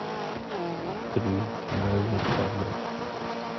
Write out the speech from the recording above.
привет мне нужна швабра